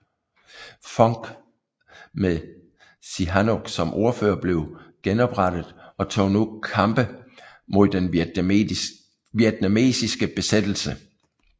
FUNK med Sihanouk som ordfører blev genoprettet og tog nu kampe mod den vietnamesiske besættelse